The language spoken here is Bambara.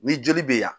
Ni joli bɛ yan